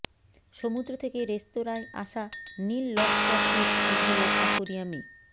সমুদ্র থেকে রেস্তোঁরায় আসা নীল লবস্টারটির ঠাঁই হলো অ্যাকোরিয়ামে